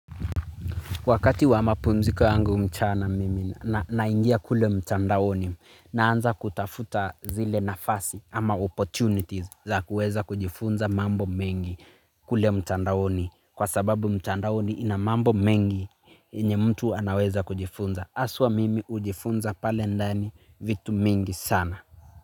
Wakati wa mapumziko yangu mchana mimi naingia kule mtandaoni naanza kutafuta zile nafasi ama opportunities za kuweza kujifunza mambo mengi kule mtandaoni kwa sababu mtandaoni ina mambo mengi yenye mtu anaweza kujifunza. Aswa mimi ujifunza pale ndani vitu mingi sana.